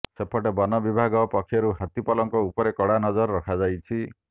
ସେପଟେ ବନ ବିଭାଗ ପକ୍ଷରୁ ହାତୀ ପଲଙ୍କ ଉପରେ କଡା ନଜର ରଖାଯାଇଛି